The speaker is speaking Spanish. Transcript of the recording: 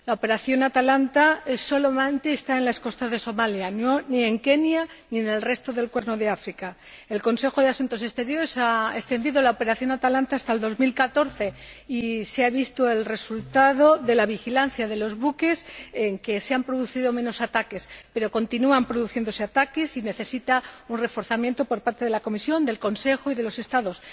La operación Atalanta solamente está activa en las costas de Somalia, ni en Kenia, ni en el resto del Cuerno de África. El Consejo de Asuntos Exteriores ha extendido la operación Atalanta hasta 2014 y se ha visto que, como resultado de la vigilancia de los buques, se han producido menos ataques, pero continúan produciéndose ataques, por lo que necesita un reforzamiento por parte de la Comisión, del Consejo y de los Estados.